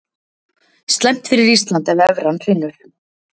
Slæmt fyrir Ísland ef evran hrynur